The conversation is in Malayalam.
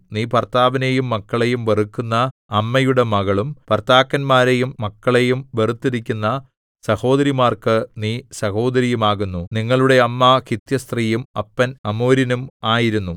നീ ഭർത്താവിനെയും മക്കളെയും വെറുക്കുന്ന അമ്മയുടെ മകളും ഭർത്താക്കന്മാരെയും മക്കളെയും വെറുത്തിരിക്കുന്ന സഹോദരിമാർക്കു നീ സഹോദരിയുമാകുന്നു നിങ്ങളുടെ അമ്മ ഹിത്യസ്ത്രീയും അപ്പൻ അമോര്യനും ആയിരുന്നു